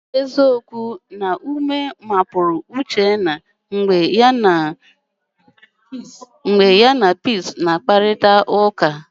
Ọ bụ eziokwu na ume pụrụ Uchenna mgbe ya na Peace na-enwe mkparịtaụka?